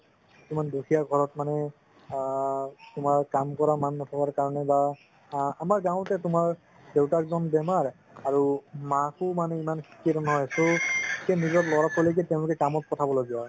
কিছুমান দুখীয়া ঘৰত মানে আ তুমাৰ কাম কৰা নথকা কাৰণে বা আ আমাৰ গাওঁতে তুমাৰ দেউতাকজন বেমাৰ অঅৰু মাকো মানে ইমান ত নিজৰ লৰা ছোৱালিকে তেওঁলোকে কাম পথাব লগিয়া হয়